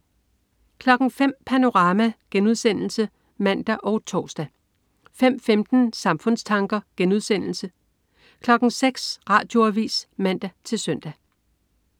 05.00 Panorama* (man og tors) 05.15 Samfundstanker* 06.00 Radioavis (man-søn)